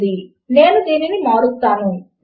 logical ఆపరేటర్లు అయిన రెండు ఆపరేటర్లు